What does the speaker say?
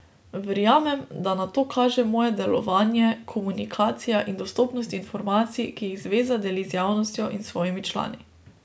Verjamem, da na to kaže moje delovanje, komunikacija in dostopnost informacij, ki jih zveza deli z javnostjo in s svojimi člani.